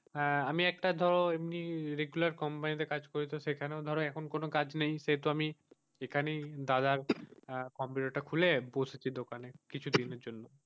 হাঁ আমি একটা তো এমনিতে regular company তে কাজ করি তো সেখানেও ধরো এখন কোনো কাজ নেই সেহেতু আমি এইখানেই দাদার কম্পিউটার তা খুলে বসেছি দোকানে কিছুদিনের জন্য,